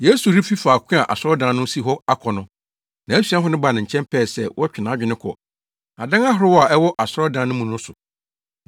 Yesu refi faako a asɔredan no si hɔ akɔ no, nʼasuafo no baa ne nkyɛn pɛɛ sɛ wɔtwe nʼadwene kɔ adan ahorow a ɛwɔ asɔredan no mu no so.